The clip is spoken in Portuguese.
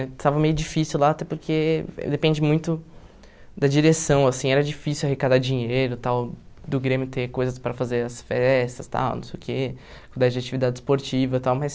Estava meio difícil lá até porque depende muito da direção, assim, era difícil arrecadar dinheiro e tal, do grêmio ter coisas para fazer as festas e tal, não sei o que, cuidar de atividade esportiva e tal, mas...